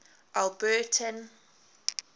alberton